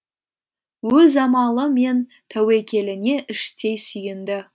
өз амалы мен тәуекеліне іштей сүйінді